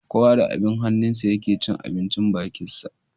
Kowa da abin hannunsa ya ke cin abin bakinsa.